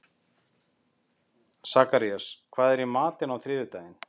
Sakarías, hvað er í matinn á þriðjudaginn?